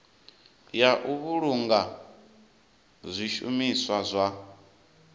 ya u vhulunga zwishumiswa zwa